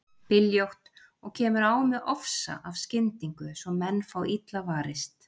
Byljótt og kemur á með ofsa af skyndingu svo menn fá illa varist.